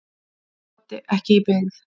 Broddi: Ekki í byggð.